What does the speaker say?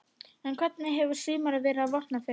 En hvernig hefur sumarið verið á Vopnafirði?